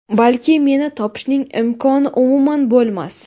Balki, meni topishning imkoni umuman bo‘lmas.